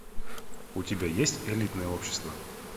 у тебя есть элитное общество